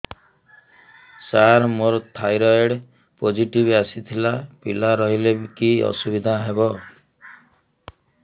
ସାର ମୋର thyroid positive ଆସିଥିଲା ପିଲା ରହିଲେ କି ଅସୁବିଧା ହେବ